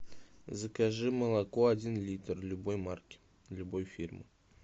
закажи молоко один литр любой марки любой фирмы